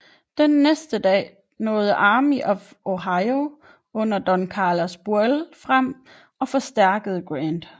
Den næste dag nåede Army of the Ohio under Don Carlos Buell frem og forstærkede Grant